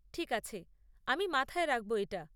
ঠিক আছে, আমি মাথায় রাখব এটা।